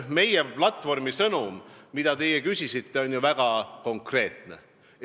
Meie platvormi sõnum, mille kohta te küsisite, on ju väga konkreetne.